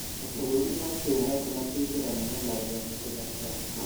Mabũrũri ma kĩarabu na kĩithiramu nĩmareganite na Trump